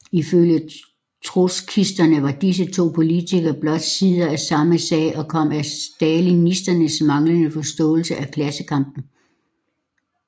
Ifølge trotskisterne var disse to politikker blot sider af samme sag og kom af stalinisternes manglende forståelse af klassekampen